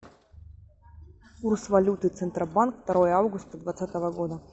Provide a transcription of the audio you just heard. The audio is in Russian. курс валюты центробанк второе августа двадцатого года